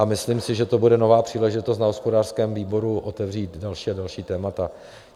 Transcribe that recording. A myslím si, že to bude nová příležitost na hospodářském výboru otevřít další a další témata.